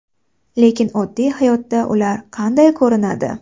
Lekin oddiy hayotda ular qanday ko‘rinadi?